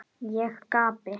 Ég gapi.